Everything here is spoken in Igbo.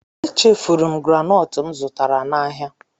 Echefuru m granọọtụ m zụtara n'ahịa.